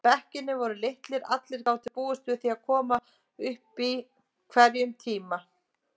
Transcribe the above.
Bekkirnir voru litlir, allir gátu búist við því að koma upp í hverjum tíma.